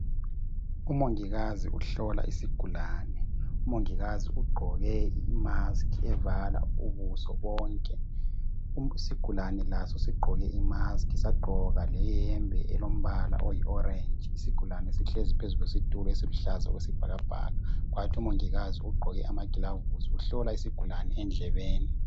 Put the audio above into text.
Umongikazi uhlola isigulane. Umongikazi ugqoke imaskhi evala ubuso bonke. Isigulane laso sigqoke imaskhi sagqoka leyembe elombala oyi orenji isigulane sihlezi phezu kwesitulo esiluhlaza okwesibhakabhaka umongikazi ugqoke ama gilavisi uhlola isigulane endlebeni